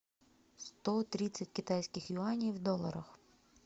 сто тридцать китайских юаней в долларах